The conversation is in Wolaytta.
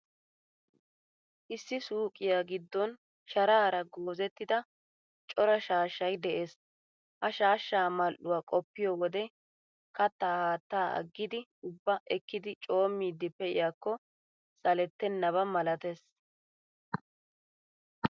Issi suuqiyaa giddon sharaara goozettida cora shaashshay de'ees. Ha shaashshaa mal''uwaa qoppiyo wode kattaa haattaa aggidi ubbaa ekkidi coommiiddi pe'iyaakko salettennaba malatees.